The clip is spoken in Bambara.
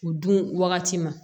U dun wagati ma